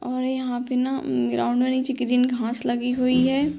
और यहाँ पे ना ग्राउंड में नीचे ग्रीन घांस लगी हुई है।